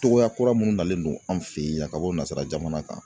Cogoya kura minnu nalen don an fɛ yen yan ka bɔ nansara jamana kan